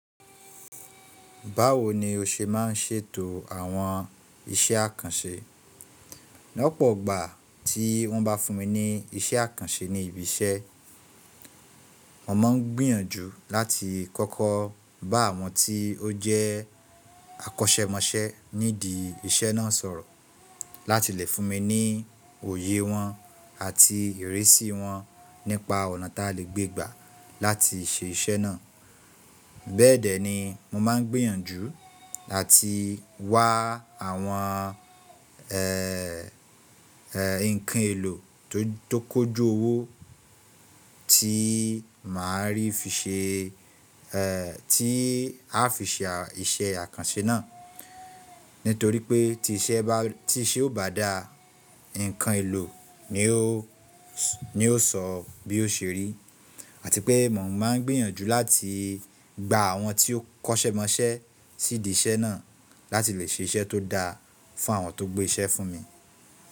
Báwo ni o ṣe ma ń ṣètò àwọn iṣẹ́ àkànṣe? Ní ọ̀pọ̀gbà tí wọ́n bá fún mi ní iṣẹ́ àkànṣe ní ibi iṣẹ́, mo ma ń gbìyànjú láti kọ́kọ́ bá àwọn tí ó jẹ́ akọ́ṣẹ́mọṣẹ́ nídìí iṣẹ́ náà sọ̀rọ̀ láti lè fún mi ní òye wọn àti ìrísí wọn nípa ọ̀nà ta lè gbé gbà láti ṣe iṣẹ́ náà. Bẹ́ẹ̀ dẹ́ ni mo máa ń gbìyànjú ati wá àwọn ẹ́ ẹ́ ǹkan èlò to, tó kójú owó tí màá rí fi ṣe ẹ́ tí a a fi ṣe iṣẹ́ àkànṣe náà. Nítorí pé tí iṣẹ́ bá tí iṣẹ́ ó bá daa, ǹkan èlò ni ó s, ni ó sọ bí ó ṣe rí àti pé mo máa ń gbìyànjú láti gba àwọn tí ó kọ́ṣẹ́ mọṣẹ́ sídí iṣẹ́ náà láti lè ṣe iṣẹ́ tó dáa fàwọn tó gbé iṣẹ́ fún mi.